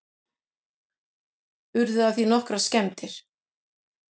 Urðu af því nokkrar skemmdir